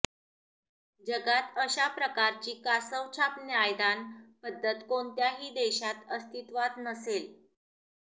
जगात अशा प्रकारची कासवछाप न्यायदान पद्धत कोणत्याही देशात अस्तित्वात नसेल